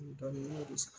Dɔɔni sa